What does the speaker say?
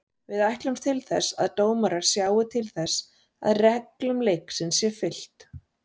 Við ætlumst til þess að dómarar sjái til þess að reglum leiksins sé fylgt.